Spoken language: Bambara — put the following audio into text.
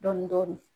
Dɔɔnin dɔɔnin